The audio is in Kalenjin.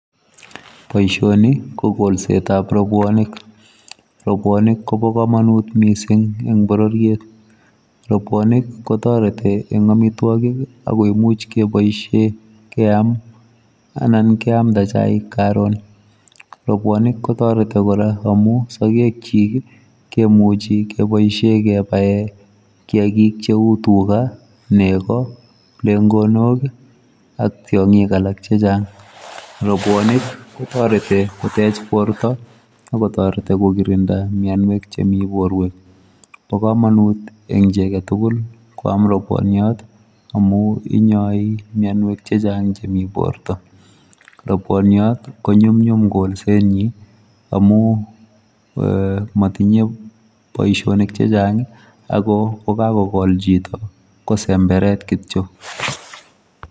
Boisioni ko kolset ab rapuonik , rapuonik kobaa kamanut missing en borororiet, rapuonik ko taretii en amitwagiik ago imuuch kebaisheen keyaam anan keyamdaa chaik karoon rapuonik kotaretii kora amuun sageg kyiik kimuche kebaisheen kebaen kiagik che uu tugaah negoi, plengonok ak tiangiik alaak che chaang, rapuonik kotaretii koteech borto ako taretii ko kirindaa mianweek che Mii borweek ,bo kamanut eng chii age tugul koyaam rapuoniat amuun inyai mianyeek che chaang en borto, rapuoniat ko nyumnyum kolset nyiin amuun eeh matinyei boisionik chechaang ago kakol chitoo.